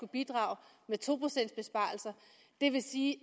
bidrage med to procents besparelser det vil sige